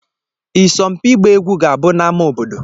Ịsompi ịgba egwu ga-abụ n'amá obodo.